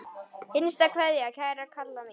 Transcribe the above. HINSTA KVEÐJA Kæra Kalla mín.